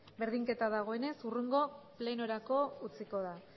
berdinketa dagoenez hurrengo plenorako utziko da